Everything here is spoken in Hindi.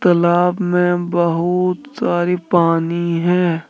लाब में बहुत सारी पानी है।